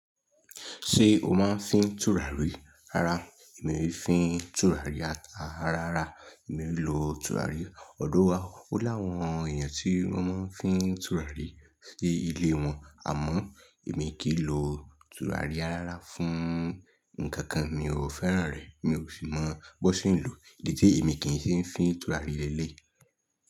Ṣé o máa ń fi tùràrí ara? Èmi ò fi tùràrí ara rárá, èmi ò lò tùràrí. Ọ̀dọ̀ wa wó láwọn èèyàn tí wọ́n máa ń fi tùràrí sí ilé wọn, àmọ́ èmi kì í lò tùràrí rárá fún nǹkan kan, mi ò fẹ́ràn rẹ̀, mi ò sì mọ bó ṣe ń lò, èyí té èmi kì í ṣe ń fi tùràrí lelééyí.